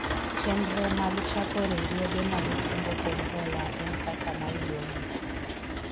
chenro mag chako riwruoge mag kungo kod hola en kaka maluwogi